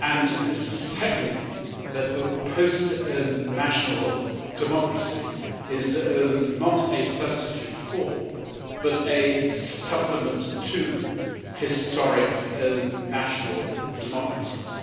and secondly, that a post national democracy is not a substitute for, but a supplement to, historic national democracies.